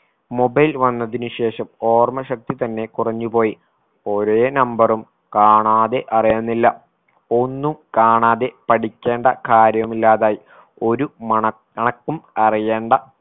mobile വന്നതിനു ശേഷം ഓർമ്മശക്തി തന്നെ കുറഞ്ഞു പോയി ഒരേ number ഉം കാണാതെ അറിയുന്നില്ല ഒന്നും കാണാതെ പഠിക്കേണ്ട കാര്യമില്ലാതായി ഒരു മനക്കണക്കും അറിയേണ്ട